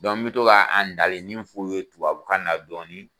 n bɛ to ka a ndalennin in f'u ye tubabukan na dɔɔnin.